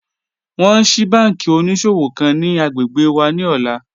Wọn ń ṣíí bànkí oníṣọ̀wọ̀ kan ni agbẹ́gbẹ́ wà ni ọ̀lá